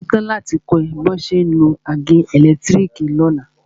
Mo ṣetán láti kọ́ ẹ bí wọ́n ṣe ń lo àgé ẹ̀lẹ́tírìkì lọ́la.